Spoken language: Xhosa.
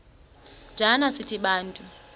njana sithi bantu